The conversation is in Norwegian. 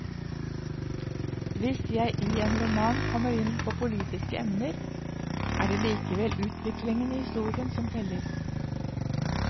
Hvis jeg i en roman kommer inn på politiske emner, er det likevel utviklingen i historien som teller.